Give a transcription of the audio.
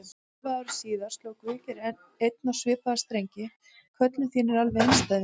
Hálfu ári síðar sló Guðgeir enn á svipaða strengi: Köllun þín er alveg einstæð, vinur.